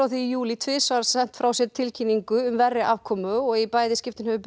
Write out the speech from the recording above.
því í júlí tvisvar sent frá sér tilkynningu um verri afkomu og í bæði skiptin hefur